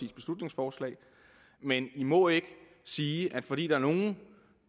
beslutningsforslag men i må ikke sige at fordi der er nogle